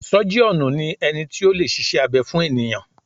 Sọ́jíọ̀nù ni ẹni tí o lè ṣiṣẹ́ abẹ fún ènìyàn.